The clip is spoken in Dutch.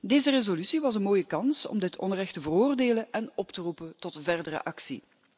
Deze resolutie was een mooie kans om dit onrecht te veroordelen en op te roepen tot verdere actie.